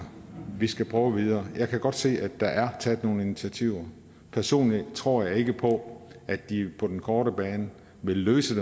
vi skal prøve videre jeg kan godt se at der er taget nogle initiativer personligt tror jeg ikke på at de på den korte bane vil løse